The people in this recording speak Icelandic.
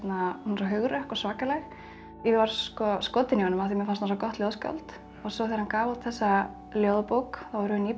hugrökk og svakaleg ég varð skotin í honum af því mér fannst hann svo gott ljóðskáld svo þegar hann gaf út þessa ljóðabók vorum við nýbyrjuð